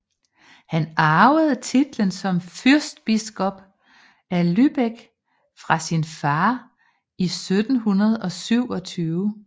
Han arvede titlen som fyrstbiskop af Lübeck fra sin far i 1727